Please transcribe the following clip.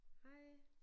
Hej